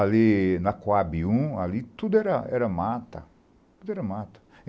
Ali na Coab um, tudo era mata.